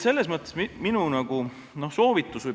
Selles mõttes on minu soovitus ...